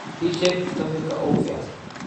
ii sheeg sarifka ugu fiican